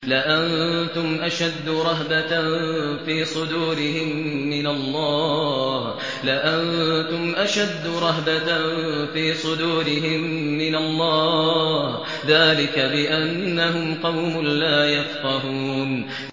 لَأَنتُمْ أَشَدُّ رَهْبَةً فِي صُدُورِهِم مِّنَ اللَّهِ ۚ ذَٰلِكَ بِأَنَّهُمْ قَوْمٌ لَّا يَفْقَهُونَ